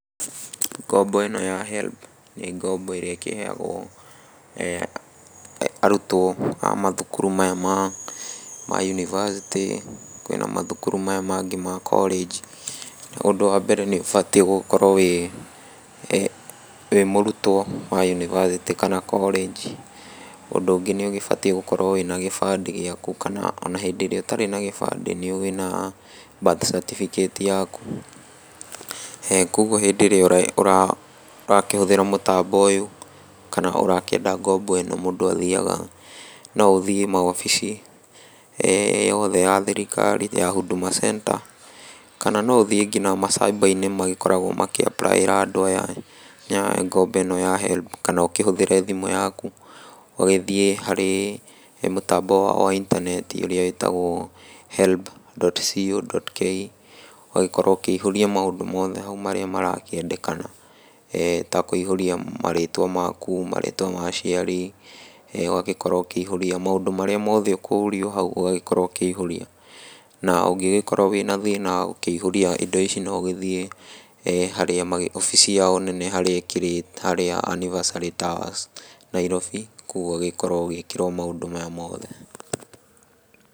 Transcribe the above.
Ngombo ĩno ya HELB nĩ ngombo ĩrĩa ĩkĩheagwo e arutwo a mathukuru maya ma yunivasĩtĩ, kwĩna mathukuru maya mangĩ ma korĩnji , na ũndũ wa mbere nĩ ũbatiĩ gũkorwo wĩ mũrutwo wa yunivasĩtĩ kana korĩnji , ũndũ ũngĩ nĩ ũgĩbatiĩ gũkorwo na gĩbandĩ gĩaku, kana hĩndĩ ĩrĩa ũtarĩ na gĩbandĩ wĩna Birth Certificate yaku, kũgwo hĩndĩ ĩrĩa e ũrakĩhũthĩra mũtambo ũyũ kana ũrakĩendia ngombo ĩno, mũndũ athiaga, no ũthiĩ maobici yothe ya thirikari ya Huduma Centre , kana nginya no ũthiĩ macyba-inĩ magĩkoragwo makĩapraĩra andũ aya ngombo ĩno ya HELB, kana ũkĩhũthĩre thimũ yaku, ũgĩthiĩ harĩ he mũtambo wa itaneti ĩyo ĩtagwo HELB.CO.KE ũgagĩkorwo ũkĩihũria maũndũ mothe hau marĩa marakĩendekana , e ta kũihũria marĩtwa maku , marĩtwa ma aciari, ũgagĩkorwo ũkĩihũria, maũndũ marĩa mothe ũkũrio hau ũgakorwo ũkĩihũria, na ũngĩgĩkorwo wĩna thĩna wa kũihũria indo ici no ũgĩthiĩ harĩa obici yao nene harĩa ĩkĩrĩ harĩa Anniversary Towers , Nairobi, kũgwo ũgagĩkorwo ũgĩĩkĩrwo maũndũ maya mothe.